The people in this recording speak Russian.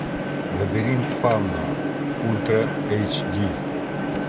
лабиринт фавна ультра эйч ди